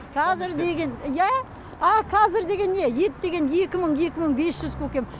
қазір деген иә ал қазір деген не ет деген екі мың екі мың бес жүз көкем